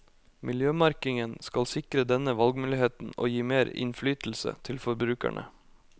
Miljømerkingen skal sikre denne valgmuligheten og gi mer innflytelse til forbrukerne.